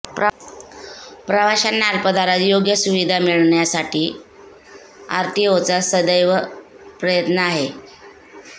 प्रवाशांना अल्पदरात योग्य सुविधा मिळावी यासाठी आरटीओचा सदैव प्रयत्न आहे